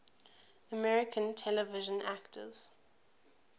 american television actors